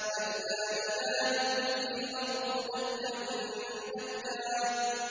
كَلَّا إِذَا دُكَّتِ الْأَرْضُ دَكًّا دَكًّا